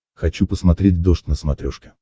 хочу посмотреть дождь на смотрешке